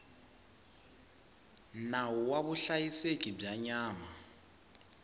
nawu wa vuhlayiseki bya nyama